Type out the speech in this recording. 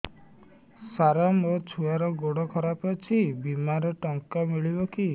ସାର ମୋର ଛୁଆର ଗୋଡ ଖରାପ ଅଛି ବିମାରେ ଟଙ୍କା ମିଳିବ କି